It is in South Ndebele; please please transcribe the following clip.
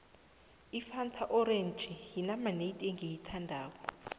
ifanta orenji yinamanedi engiyithandako